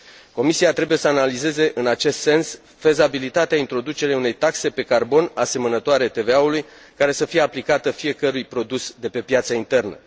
Comisia trebuie să analizeze, în acest sens, fezabilitatea introducerii unei taxe pe carbon, asemănătoare TVA ului, care să fie aplicată fiecărui produs de pe piața internă.